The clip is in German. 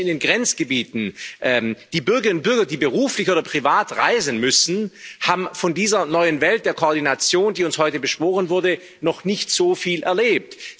Die Menschen in den Grenzgebieten, die Bürgerinnen und Bürger, die beruflich oder privat reisen müssen, haben von dieser neuen Welt der Koordination, die uns heute beschworen wurde, noch nicht so viel erlebt.